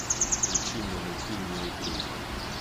включи мне мультфильм неуклюжая